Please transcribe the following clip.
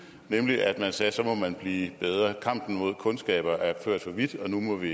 nemlig at man sagde at så måtte man blive bedre kampen mod kundskaber er ført for vidt nu må vi